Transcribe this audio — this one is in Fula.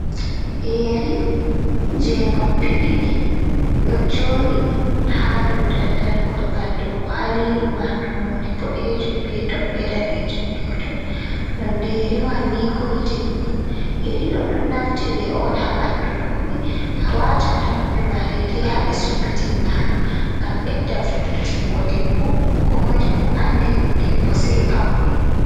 Yeri je noppi diɗi do jodi ha do daldal golgal dow kwaliru man nunɗe bodejum be tobbe danejum dow ton nonɗe yeri man ni golɗin on yerido ɗon naftire on ha ɓandu roɓe a watan ha noppi made dei dei ha be sumbitini mado ngam bedda fo’itingo debbo komoije fu andi debbo sei pauni.